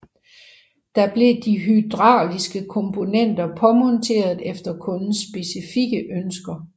Der blev de hydrauliske komponenter påmonteret efter kundens specifikke ønsker